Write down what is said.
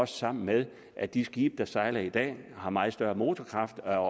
sammen med at de skibe der sejler i dag har meget større motorkraft og